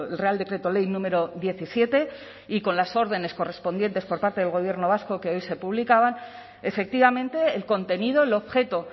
real decreto ley número diecisiete y con las órdenes correspondientes por parte del gobierno vasco que hoy se publicaban efectivamente el contenido el objeto